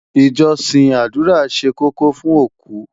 ìjósìn ádùrá ṣé kókó fún oku